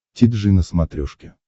ти джи на смотрешке